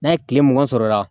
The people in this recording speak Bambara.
N'a ye kile mugan sɔrɔ o la